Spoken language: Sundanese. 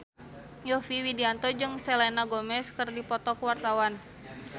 Yovie Widianto jeung Selena Gomez keur dipoto ku wartawan